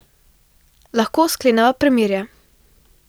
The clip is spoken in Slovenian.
Lahko skleneva premirje.